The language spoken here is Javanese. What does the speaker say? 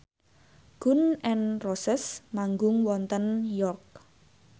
Gun n Roses manggung wonten York